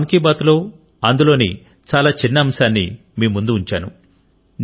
ఇపుడు మన్ కి బాత్ లో అందులోని చాలా చిన్న అంశాన్ని మీ ముందు ఉంచాను